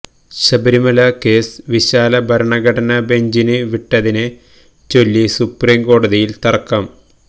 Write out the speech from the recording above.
Sabarimala case വിശാല ഭരണഘടനാ ബെഞ്ചിന് വിട്ടതിനെ ചൊല്ലി സൂപ്രീം കോടതിയിൽ തർക്കം